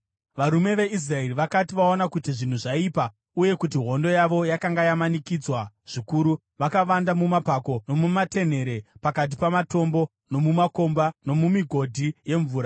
Varume veIsraeri vakati vaona kuti zvinhu zvaipa uye kuti hondo yavo yakanga yamanikidzwa zvikuru, vakavanda mumapako nomumatenhere, pakati pamatombo, nomumakomba nomumigodhi yemvura.